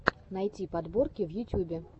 найти подборки в ютюбе